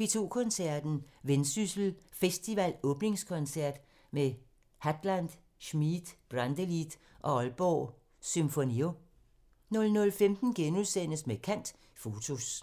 P2 Koncerten – Vendsyssel Festival åbningskoncert med Hadland, Schmid, Brantelid og Aalborg Symfonio 00:15: Med kant – Fotos *